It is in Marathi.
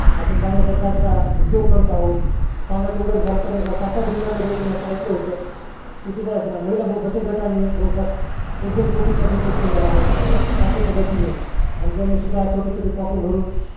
आपण चांगल्या प्रकारचा उदोग करत आहोत सांगायचं उद्धरण झालं तर सातारा जिल्हायात मध्ये आता मी ऐकलं होत तिथे महिला बचत गटा नि जवळ पास एक दोन कोटी चा business केलेला आहे साखळी पद्धतीने आणि त्यानी सुद्धा छोटे छोटे packot भरून